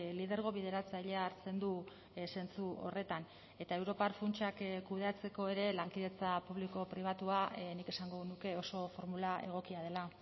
lidergo bideratzailea hartzen du zentzu horretan eta europar funtsak kudeatzeko ere lankidetza publiko pribatua nik esango nuke oso formula egokia dela